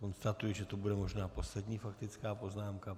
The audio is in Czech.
Konstatuji, že to bude možná poslední faktická poznámka.